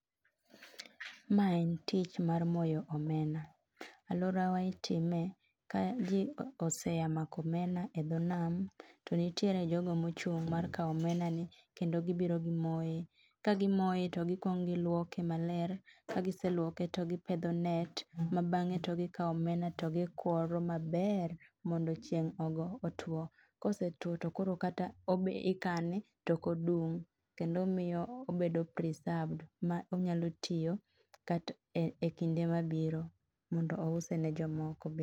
Ma en tich mar moyo omena. Alworawa itime ka ji oseya mako omena e dho nam. To nitiere jogo mochung' mar kawo omena ni kendi gibiro gimoe. Ka gimoe to gikwong gilwoke maler, ka giseluoke to gipedho net, ma bang'e to gikawo omena to gikworo maber mondo chieng' ogo otwo. Kosetwo to koro kata obed ikane tokodung' kendo miyo obedo preserved ma onyalo tiyo kat e kinde ma biro mondo ouse ne jomoko be.